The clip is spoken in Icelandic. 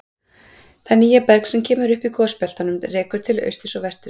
Það nýja berg sem kemur upp í gosbeltunum rekur til austurs og vesturs.